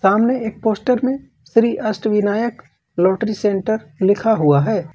सामने एक पोस्टर मे श्री अष्टविनायक लॉटरी सेंटर लिखा हुआ है।